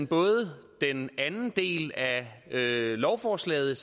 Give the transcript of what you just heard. både den anden del af lovforslaget